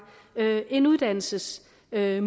en uddannelsesmulighed